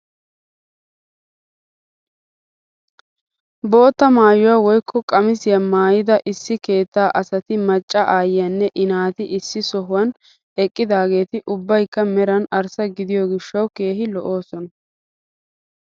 Bootta maayuwaa woykko qamisiyaa maayida issi keettaa asati macca ayiyaanne i naati issi sohuwaan eqqidaageti ubbaykka meran arssa gidiyoo gishshawu keehi lo"oosona!